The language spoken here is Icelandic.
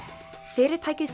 fyrirtækið